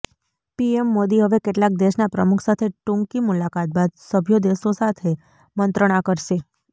PM Modi હવે કેટલાક દેશના પ્રમુખ સાથે ટૂંકી મુલાકાત બાદ સભ્યો દેશો સાથે મંત્રણા કરશે